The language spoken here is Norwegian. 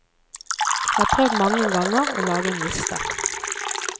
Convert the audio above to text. Jeg har prøvd mange ganger å lage en liste.